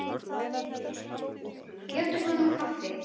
Bjóddu honum inn í kaffi.